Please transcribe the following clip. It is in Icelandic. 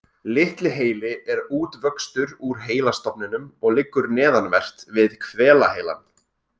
Litli heili er útvöxtur úr heilastofninum og liggur neðanvert við hvelaheilann.